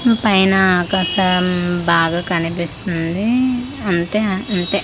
పైన ఆకాశం బాగా కనిపిస్తుంది అంతే అంతే.